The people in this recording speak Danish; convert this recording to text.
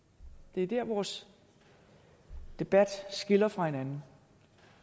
det er der vores debat skiller fra hinanden